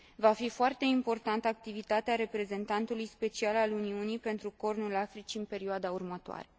Va fi foarte importantă activitatea Reprezentantului special al Uniunii pentru Cornul Africii în perioada următoare.